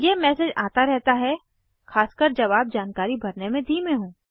यह मैसेज आता रहता है खासकर जब आप जानकारी भरने में धीमे हों